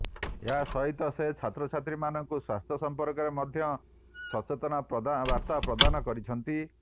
ଏହା ସହିତ ସେ ଛାତ୍ରଛାତ୍ରୀମାନଙ୍କୁ ସ୍ୱାସ୍ଥ୍ୟ ସଂପର୍କରେ ମଧ୍ୟ ସଚେତନତା ବାର୍ତ୍ତା ପ୍ରଦାନ କରିଛନ୍ତି